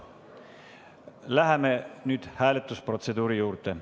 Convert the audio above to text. Läheme nüüd hääletusprotseduuri juurde.